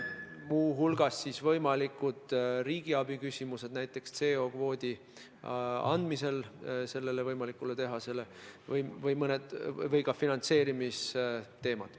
Muu hulgas on üleval võimalikud riigiabi küsimused, näiteks CO2 kvoodi andmisel sellele võimalikule tehasele, samuti finantseerimisteemad.